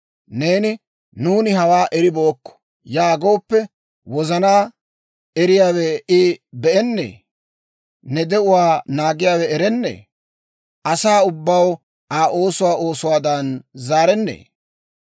Neeni, «Nuuni hawaa eribeykko» yaagooppe, wozanaa eriyaawe I be'ennee? Ne de'uwaa naagiyaawe erennee? Asaa ubbaw Aa oosuwaa oosuwaadan zaarennee?